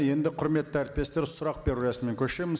енді құрметті әріптестер сұрақ беру рәсіміне көшеміз